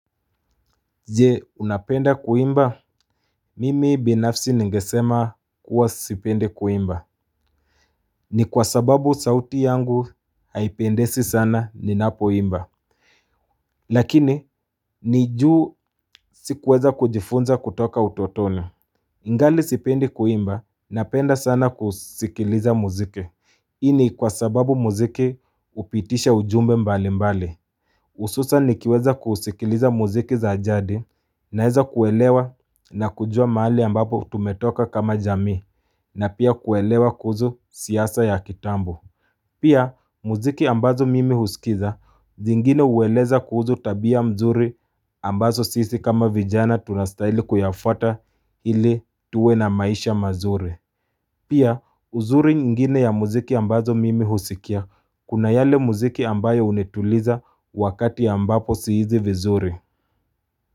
Je, unapenda kuimba? Mimi binafsi ningesema Huwa sipendi kuimba. Ni kwa sababu sauti yangu haipendezi sana ni napoimba. Lakini, nijuu sikuweza kujifunza kutoka utotona. Ningali sipende kuimba, napenda sana kusikiliza muziki. Hiini kwa sababu muziki hupitisha ujumbe mbali mbali. Hususani nikiweza kuusikiliza muziki za jadi na weza kuelewa na kujua maali ambapo tumetoka kama jami na pia kuelewa kuhusu siasa ya kitambo. Pia muziki ambazo mimi husikiliza zingine uweleza kuhusu tabia mzuri ambazo sisi kama vijana tunastaili kuyafata ili tuwe na maisha mazuri. Pia uzuri ngini ya muziki ambazo mimi husikia kuna yale muziki ambayo unetuliza wakati ambapo siizi vizuri.